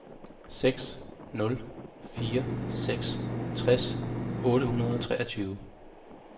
seks nul fire seks tres otte hundrede og treogtyve